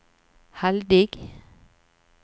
heldig